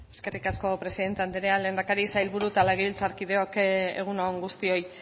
eskerrik asko presidente andrea lehendakari sailburu eta legebiltzarkideok egun on guztioi